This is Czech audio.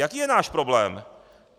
Jaký je náš problém?